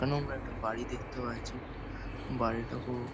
এখানে আমরা একটা বাড়ি দেখতে পাচ্ছি । বাড়িটা পুরো --